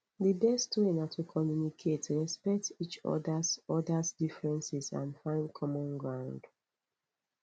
di best way na to communicate respect each odas odas differences and find common ground